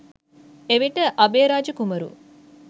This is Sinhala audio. එවිට අභයරාජ කුමරු